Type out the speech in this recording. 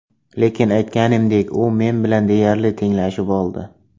Lekin aytganimdek, u men bilan deyarli tenglashib oldi.